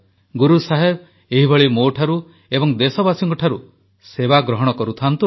ଗୁରୁ ସାହେବ ଏହିଭଳି ମୋଠାରୁ ଏବଂ ଦେଶବାସୀଙ୍କଠାରୁ ସେବା ଗ୍ରହଣ କରୁଥାନ୍ତୁ